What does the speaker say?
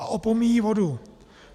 A opomíjí vodu.